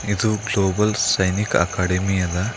ಇದು global Sainik academy ಅದ.